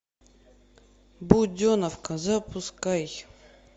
буденовка запускай